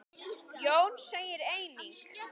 Jón segir einnig